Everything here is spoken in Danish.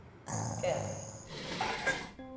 skærm